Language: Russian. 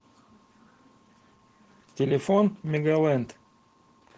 телефон мегалэнд